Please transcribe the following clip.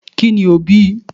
ki ní o bí